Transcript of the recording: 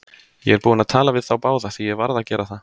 Ég er búinn að tala við þá báða, því ég varð að gera það.